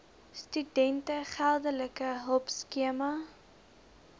studente geldelike hulpskema